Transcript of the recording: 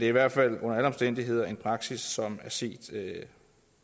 i hvert fald under alle omstændigheder en praksis som er set